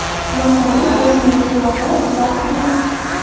Masalan, o‘simlik yog‘i va suv.